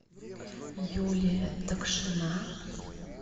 юлия такшина